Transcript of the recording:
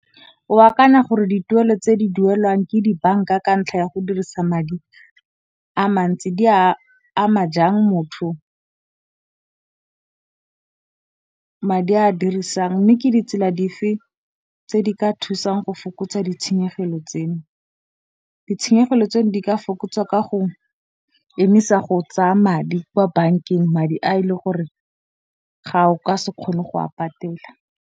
Wa kana gore dituelo tse di duelwang ke dibanka ka ntlha ya go dirisa madi a mantsi, di a ama jang motho madi a dirisang mme ke ditsela di fa tse di ka thusang go fokotsa ditshenyegelo tseno. Ditshenyegelo tseno di ka fokotsa ka go emisa go tsaya madi kwa bankeng madi a e le gore ga o ka se kgone go a patela.